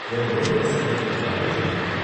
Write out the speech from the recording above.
என்னோட ரெண்டு பசங்களும் இதுக்கு அப்ளை பண்ணுவாங்க.